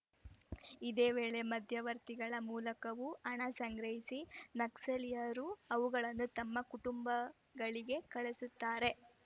ಇದೇ ವೇಳೆ ಮಧ್ಯವರ್ತಿಗಳ ಮೂಲಕವೂ ಹಣ ಸಂಗ್ರಹಿಸಿ ನಕ್ಸಲೀಯರು ಅವುಗಳನ್ನು ತಮ್ಮ ಕುಟುಂಬಗಳಿಗೆ ಕಳಿಸುತ್ತಾರೆ